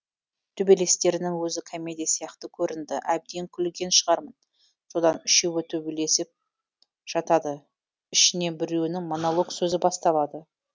төбелестерінің өзі комедия сияқты көрінді әбден күлген шығармын содан үшеуі төбелесіп жатады ішінен біреуінің монолог сөзі басталады